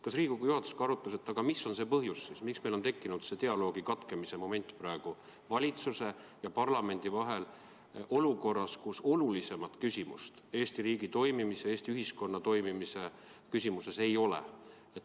Kas Riigikogu juhatus arutas, mis on see põhjus, miks meil on tekkinud olukord, kus olulisemat küsimust Eesti riigi toimimise, Eesti ühiskonna toimimise küsimuses ei ole, aga ometi on dialoog valitsuse ja parlamendi vahel katkenud?